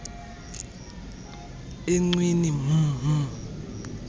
encwina mh mh